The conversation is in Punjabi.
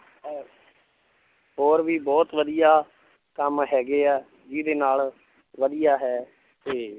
ਅਹ ਹੋਰ ਵੀ ਬਹੁਤ ਵਧੀਆ ਕੰਮ ਹੈਗੇ ਹੈ, ਜਿਹਦੇ ਨਾਲ ਵਧੀਆ ਹੈ ਤੇ